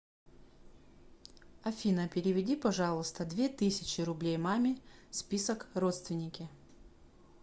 афина переведи пожалуйста две тысячи рублей маме список родственники